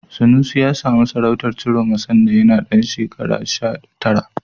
Sanusi ya samu sarautar Ciroma sanda yana ɗan shekara sha tara.